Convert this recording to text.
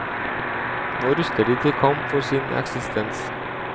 Nå ruster de til kamp for sin eksistens.